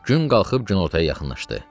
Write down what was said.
Gün qalxıb günortaya yaxınlaşdı.